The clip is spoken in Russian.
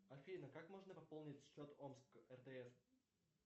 афина как можно пополнить счет омск ртс